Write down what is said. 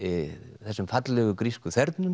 þessum fallegu grísku